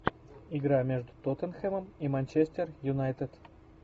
игра между тоттенхэмом и манчестер юнайтед